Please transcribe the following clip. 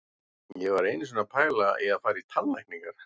Ég var einu sinni að pæla í að fara í tannlækningar.